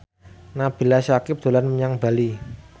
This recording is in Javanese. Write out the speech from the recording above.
Nabila Syakieb dolan menyang Bali